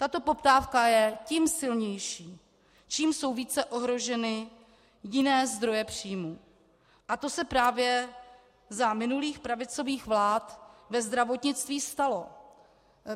Tato poptávka je tím silnější, čím jsou více ohroženy jiné zdroje příjmů, a to se právě za minulých pravicových vlád ve zdravotnictví stalo.